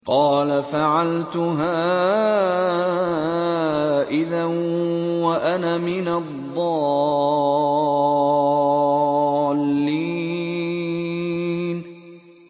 قَالَ فَعَلْتُهَا إِذًا وَأَنَا مِنَ الضَّالِّينَ